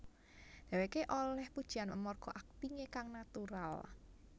Dheweké olih pujian amarga aktingé kang natural